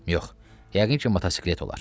Yox, yəqin ki motosiklet olar.